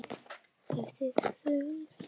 Ef þið þurfið.